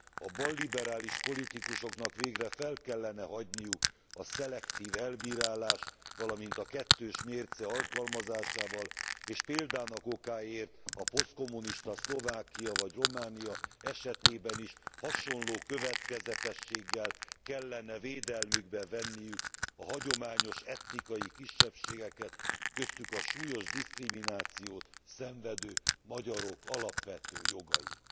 A balliberális politikusoknak végre fel kellene hagyniuk a szelektív elbírálás, valamint a kettős mérce alkalmazásával, és példának okáért a posztkommunista Szlovákia vagy Románia esetében is hasonló következetességgel kellene védelmükbe venni a hagyományos etnikai kisebbségeket, köztük a súlyos diszkriminációt szenvedő magyarok alapvető jogait.